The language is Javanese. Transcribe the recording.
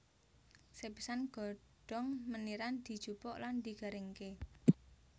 Sepisan godhong meniran dijupuk lan digaringké